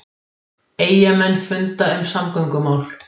Eyjamenn funda um samgöngumál